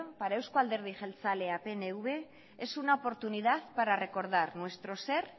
para eusko alderdi jeltzaleak pnv es un oportunidad para recordar nuestro ser